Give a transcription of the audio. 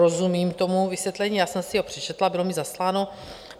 Rozumím tomu vysvětlení, já jsem si ho přečetla, bylo mi zasláno.